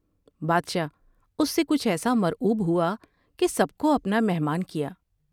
بادشاہ اس سے کچھ ایسا مرعوب ہوا کہ سب کو اپنا مہمان کیا ۔